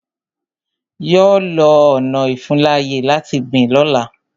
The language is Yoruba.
Yọ lọ ọna ìfuńláyè láti gbìn lọ́la.